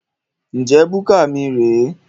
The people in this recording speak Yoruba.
Njẹ búkà mí rè é?